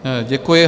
Děkuji.